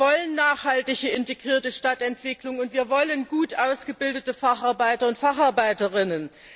Wir wollen eine nachhaltig integrierte Stadtentwicklung, und wir wollen gut ausgebildete Facharbeiter und Facharbeiterinnen.